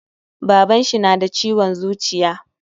Baban shi nada ciwon zuciya